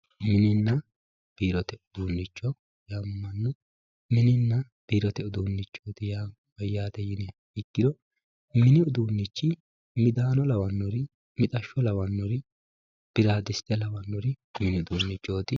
mininni biirote uduunnicho yaamamanno mininna biirote uduunnicho ya mayyate yiniha ikkiro mini uduunnichi midaano lawannori mixashsho lawannori birradite lawannori mini uduunnichooti.